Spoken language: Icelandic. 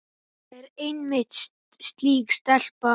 Hún er einmitt slík stelpa.